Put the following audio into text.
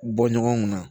Bɔ ɲɔgɔn kun na